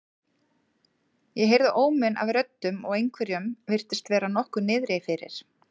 Ég heyrði óminn af röddum og einhverjum virtist vera nokkuð niðri fyrir.